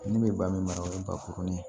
Ne bɛ ba min mara o ye bakuruni ye